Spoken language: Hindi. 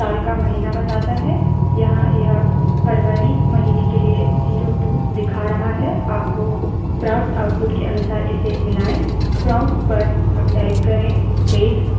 यह सांख्यिक रूप में साल का महीना बताता है यहाँ यह फरवरी महीने के लिए 02 दिखा रहा है आपको प्राप्त output के अनुसार इसे मिलायें